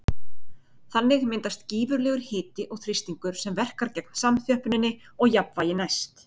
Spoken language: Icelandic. Þannig myndast gífurlegur hiti og þrýstingur sem verkar gegn samþjöppuninni og jafnvægi næst.